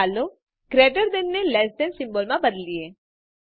ચાલો greater than ને less than સિમ્બોલમાં બદલીએ